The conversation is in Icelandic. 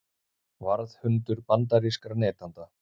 Varðhundur bandarískra neytenda